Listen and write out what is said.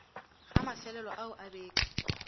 ga mefelelo ao a beke